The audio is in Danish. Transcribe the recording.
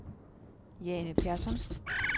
Jane Persson